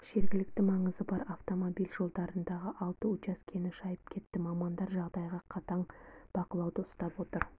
жергілікті маңызы бар автомобиль жолдарындағы алты учаскені шайып кетті мамандар жағдайды қатаң бақылауда ұстап отыр